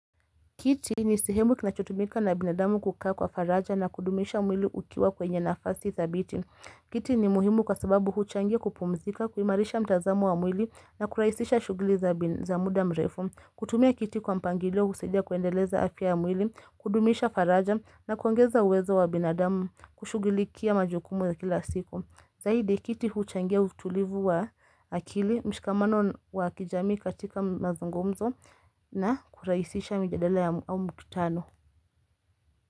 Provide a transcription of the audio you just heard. Kiti ni sihemu kinachotumika na binadamu kukaa kwa faraja na kudumisha mwili ukiwa kwenye nafasi dhabiti. Kiti ni muhimu kwa sababu huchangia kupumzika, kuhimarisha mtazamu wa mwili na kuraisisha shughuli za muda mrefu. Kutumia kiti kwa mpangilio husaidia kuendeleza afya ya mwili, kudumisha faraja na kuongeza uwezo wa binadamu kushugilikia majukumu za kila siku. Zaidi kiti huchangia utulivu wa akili mshikamano wa kijamii katika mazungumzo na kuraisisha mjadala au mkutano.